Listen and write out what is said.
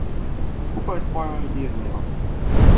Skupaj s svojo ljubeznijo.